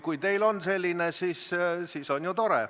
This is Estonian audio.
Kui teil on selline info, siis on tore.